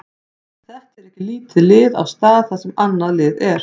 Þetta er ekki lítið lið á stað þar sem annað lið er.